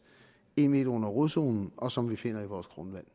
en m under rodzonen og som vi finder i vores grundvand